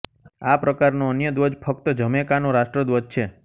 આ પ્રકારનો અન્ય ધ્વજ ફક્ત જમૈકાનો રાષ્ટ્રધ્વજ છે